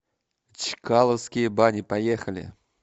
чкаловские бани поехали